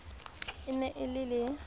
e ne e le le